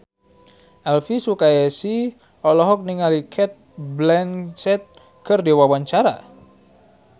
Elvy Sukaesih olohok ningali Cate Blanchett keur diwawancara